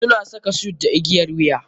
Suna saka suit da igiyar wuya.